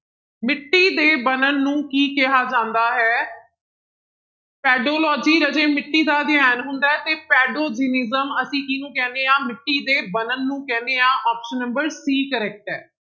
ਮਿੱਟੀ ਦੇ ਬਣਨ ਨੂੰ ਕੀ ਕਿਹਾ ਜਾਂਦਾ ਹੈ ਪੈਡੋਲੋਜੀ ਰਾਜੇ ਮਿੱਟੀ ਦਾ ਅਧਿਐਨ ਹੁੰਦਾ ਹੈ ਤੇ ਪੈਡੋਜੈਨਿਸਮ ਅਸੀਂ ਕਿਹਨੂੰ ਕਹਿੰਦੇ ਹਾਂ ਮਿੱਟੀ ਦੇ ਬਣਨ ਨੂੰ ਕਹਿੰਦੇ ਹਾਂ option number c correct ਹੈ